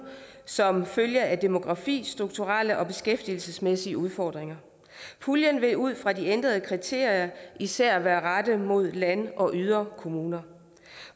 som følge af demografiske strukturelle og beskæftigelsesmæssige udfordringer puljen vil ud fra de ændrede kriterier især være rettet mod land og yderkommuner